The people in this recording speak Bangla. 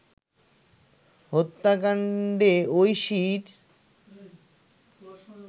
হত্যাকাণ্ডে ঐশীর